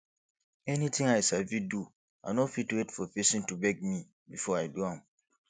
anything i sabi do i no fit wait for pesin to beg me before i do am